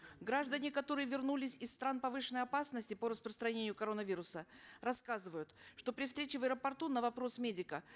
граждане которые вернулись из стран повышенной опасности по распространению коронавируса рассказывают что при встрече в аэропорту на вопрос медика